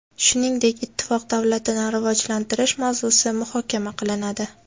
Shuningdek, Ittifoq davlatini rivojlantirish mavzusi muhokama qilinadi.